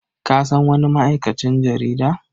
Ka san wani ma'aikacin jarida?